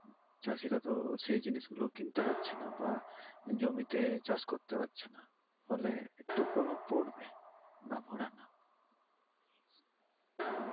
চাষিরা তো সেই জিনিসগুলো কিনতে পারছে নাহ, জমিতে চাষ করতে পারছে নাহ ফলে একটু প্রভাব পরবে ।না ভরা না ।